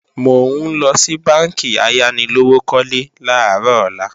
Mò ńlọ sí bánkì ayánilówókọ́lé làárọ̀ ọ̀la